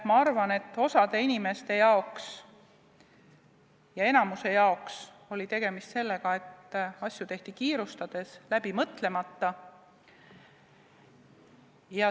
Ma arvan, et osa inimeste, enamiku puhul oli tegemist sellega, et asju tehti kiirustades, läbi mõtlemata.